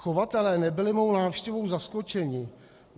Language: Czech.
Chovatelé nebyli mou návštěvou zaskočeni.